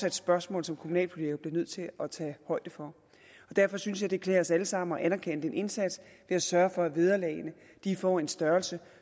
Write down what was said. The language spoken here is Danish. et spørgsmål som kommunalpolitikerne bliver nødt til at tage højde for derfor synes jeg at det klæder os alle sammen at anerkende den indsats ved at sørge for at vederlagene får en størrelse